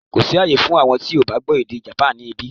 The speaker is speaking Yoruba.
Kò sí àyè fún àwọn tí kò bá gbọ́ èdè Japan níbí